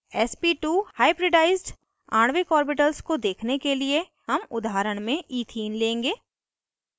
sp2 hybridized आणविक orbitals को देखने के लिए हम उदाहरण में इथीन लेंगे